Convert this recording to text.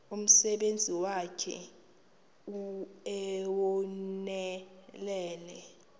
umsebenzi wakhe ewunonelele